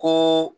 Ko